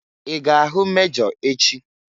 I ga-ahụ mejọ echị?